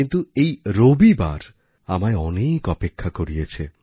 কিন্তু এই রবিবার আমায় অনেক অপেক্ষা করিয়েছে